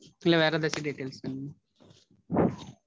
இல்ல வேற எதாச்சும் details வேணுமா?